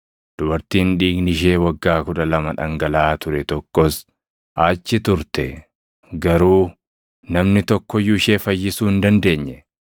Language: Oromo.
Dubartiin dhiigni ishee waggaa kudha lama dhangalaʼaa ture tokkos achi turte; garuu namni tokko iyyuu ishee fayyisuu hin dandeenye.